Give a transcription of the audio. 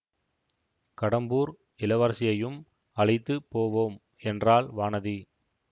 கடம்பூர் இளவரசியையும் அழைத்து போவோம் என்றாள் வானதி